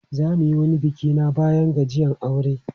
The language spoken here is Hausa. Za mu yi wani biki na bayan gajiyan aure.